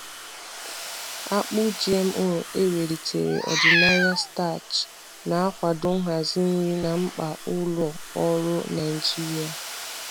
Akpụ Akpụ GMO e welitere ọdịnaya starch na-akwado nhazi nri na mkpa ụlọ ọrụ Naijiria.